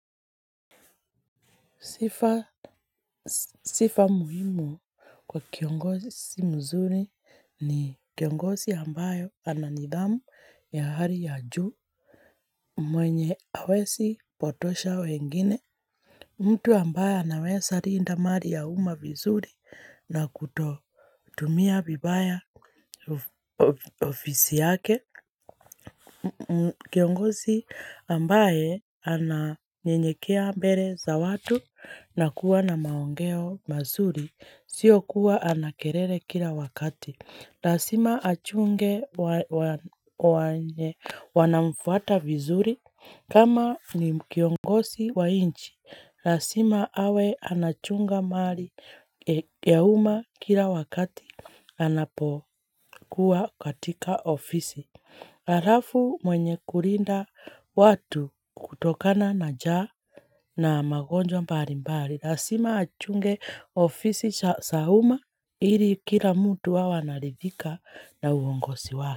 Sifa muhimu kwa kiongozi mzuri ni kiongozi ambayo ana nidhamu ya hali ya juu mwenye hawezi potosha wengine. Mtu ambaye anawez linda mali ya umma vizuri na kutotumia vibaya ofisi yake. Kiongozi ambaye ananyenyekea mbele za watu na kuwa na maongeo mazuri Sio kuwa ana kelele kila wakati. Lazima achunge wanaomfuata vizuri kama ni kiongozi wa nchi. Lazima awe anachunga mali ya umma kila wakati anapokuwa katika ofisi halafu mwenye kulinda watu kutokana na njaa na magonjwa mbali mbali. Lazima achunge ofisi za umma ili kila mtu awe anaridhika na uongozi wake.